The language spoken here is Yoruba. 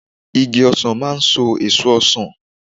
Igi ọsàn máa ń so èso ọsàn